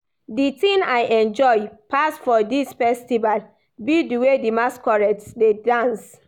The thing I enjoy pass for dis festival be the way the masquerades dey dance